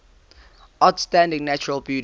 outstanding natural beauty